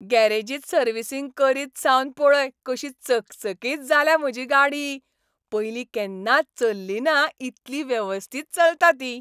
गॅरेजींत servicing करीत सावन पळय कशी चकचकीत जाल्या म्हजी गाडी, पयलीं केन्नाच चल्लिना इतली वेवस्थीत चलता ती!